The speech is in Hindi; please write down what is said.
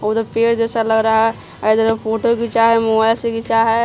वो तो पेर जैसा लग रहा है ऐदर फोटो खींचा है मोबाइल से खींचा है।